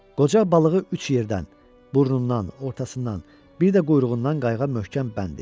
Qoca balığı üç yerdən: burnundan, ortasından, bir də quyruğundan qayıqa möhkəm bənd etdi.